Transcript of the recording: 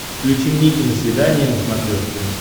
включи мне киносвидание на смотрешке